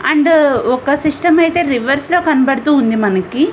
And ఒక system ఐతే reverse లో కనబడుతూ ఉంది మనకి.